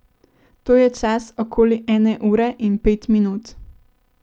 To je čas okoli ene ure in pet minut.